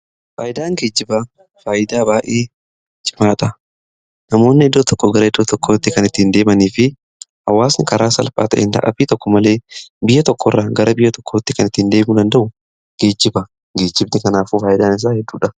fayidaan geejjibaa, faayidaa baayyee cimaa ta'a. namoonni iddoo tokko gara iddoo tokkotti kan ittiin deemanii fi hawaasni karaa salphaa ta'een dadhabbii tokko malee biyya tokko irraa gara biyya tokkotti kan ittiiin deemuu danda'u geejjiba. geejjibni kanaafuu faayidaan isaa hedduudha.